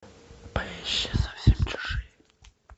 поищи совсем чужие